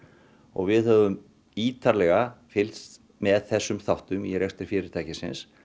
við höfum ítarlega fylgst með þessum þáttum í rekstri fyrirtækisins